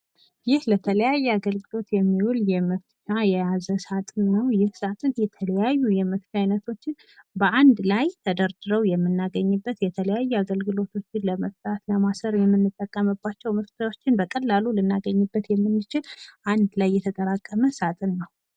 ይህ ለተለያዩ አገልግሎት የሚውል መፍቻ የያዘ ሳጥን ነው። ይህ ስጥን የተለያዩ የመፍቻ አይነቶችን በአንድ ላይ ተደርድረው የምናገኝበት የተለያዩ አገልግሎቶችን ለመፍታት ፣ ለማሰር የምንጠቀምባቸው መፍቻዎችን በቀላሉ ልናገኝበት የምንችል አንድ ላይ የተጠራቀመ ሳጥን ነው።